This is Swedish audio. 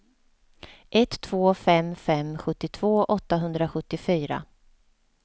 ett två fem fem sjuttiotvå åttahundrasjuttiofyra